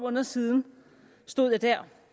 måneder siden stod jeg der